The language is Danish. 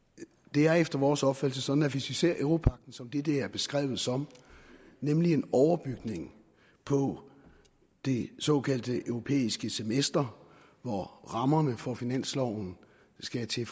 det er efter vores opfattelse sådan at hvis vi ser europagten som det det er beskrevet som nemlig en overbygning på det såkaldte europæiske semester hvor rammerne for finansloven skal til